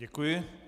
Děkuji.